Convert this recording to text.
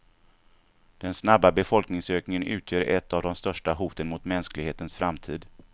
Den snabba befolkningsökningen utgör ett av de största hoten mot mänsklighetens framtid.